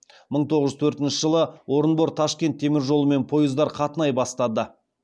мың тоғыз жүз төртінші жылы орынбор ташкент теміржолымен пойыздар қатынай бастады